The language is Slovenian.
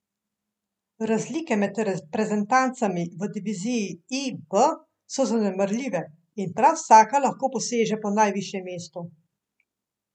Razlike med reprezentancami v diviziji I B so zanemarljive in prav vsaka lahko poseže po najvišjem mestu.